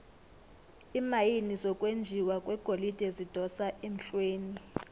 iimayini zokwenjiwa kwegolide zidosa emhlweni